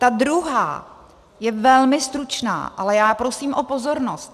Ta druhá je velmi stručná, ale já prosím o pozornost.